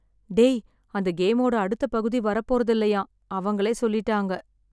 டேய். அந்த கேமோட அடுத்தப் பகுதி வரப் போறதில்லையாம். அவங்களே சொல்லிட்டாங்க.